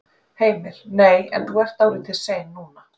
Heimir: Nei en þú ert dálítið sein núna?